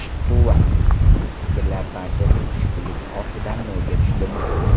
Quvvat, fikrlar barchasi tushkunlik ortidan nolga tushdimi?